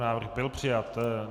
Návrh byl přijat.